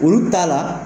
Olu t'a la